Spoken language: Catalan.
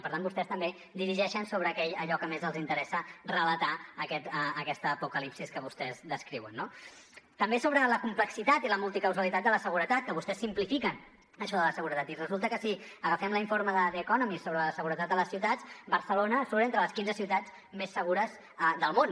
per tant vostès també dirigeixen sobre allò que més els interessa relatar aquesta apocalipsi que vostès descriuen no també sobre la complexitat i la multicausalitat de la seguretat que vostès simplifiquen això de la seguretat i resulta que si agafem l’informe de the economist sobre la seguretat de les ciutats barcelona surt entre les quinze ciutats més segures del món